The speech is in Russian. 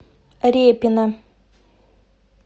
репино